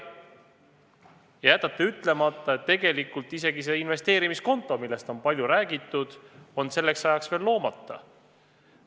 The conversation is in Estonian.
Aga te jätate ütlemata, et tegelikult see investeerimiskonto, millest palju on räägitud, on selleks ajaks veel loomata.